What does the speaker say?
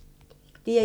DR1